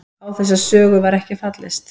Á þessa sögu var ekki fallist